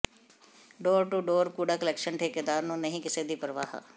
door to door ਕੂੜਾ collection ਠੇਕੇਦਾਰ ਨੂੰ ਨਹੀਂ ਕਿਸੇ ਦੀ ਪਰਵਾਹ